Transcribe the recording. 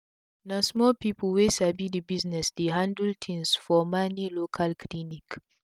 na small pipu wey sabi d work dey handle tins fo mani local clinic